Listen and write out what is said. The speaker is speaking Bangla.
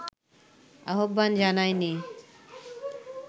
আহ্বান জানায়নি